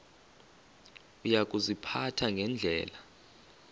uya kuziphatha ngendlela